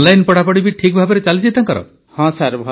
online ପଢ଼ାପଢ଼ି ବି ଠିକ୍ ଭାବେ ଚାଲିଛି ତାଙ୍କର